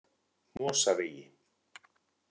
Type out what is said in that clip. Mosavegi